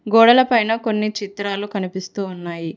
గోడల పైన కొన్ని చిత్రాలు కనిపిస్తు ఉన్నాయి.